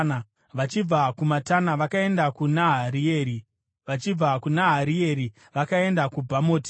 vachibva kuMatana vakaenda kuNaharieri, vachibva kuNaharieri vakaenda kuBhamoti,